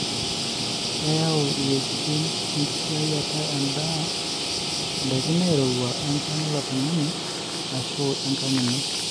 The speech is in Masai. keyau iweujitin enkisiayiata endaa indaiki nairuwua enkang ilo tungani, ashu enkang ino.